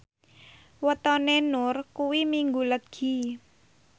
wetone Nur kuwi Minggu Legi